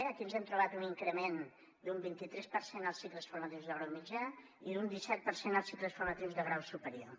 aquí ens hem trobat un increment d’un vint i tres per cent als cicles formatius de grau mitjà i d’un disset per cent als cicles formatius de grau superior